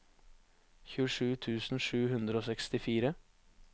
tjuesju tusen sju hundre og sekstifire